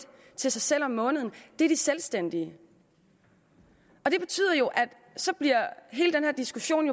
til sig selv om måneden er de selvstændige det betyder jo at hele den her diskussion